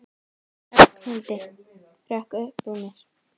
Ragnhildi, hrökk upp úr mér.